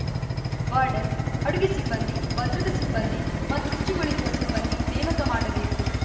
warden ಅಡುಗೆ ಸಿಬ್ಬಂದಿ ಭದ್ರತಾ ಸಿಬ್ಬಂದಿ ಮತ್ತು ಶುಚಿಗೊಳಿಸುವ ಸಿಬ್ಬಂದಿ ನೇಮಕ ಮಾಡಬೇಕು